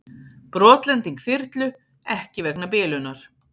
Brotlending þyrlu ekki vegna bilunar